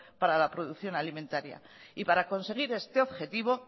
para la producción alimentaria y para conseguir este objetivo